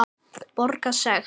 Borga sekt?